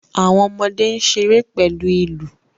Awọn ọmọde n ṣere pẹlu awọn ilu